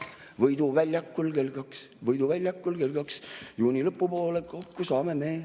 Võidu väljakul kell kaks, Võidu väljakul kell kaks juuni lõpupoole, kokku saame me.